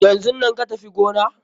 Yanzun nan ka Tafi gona!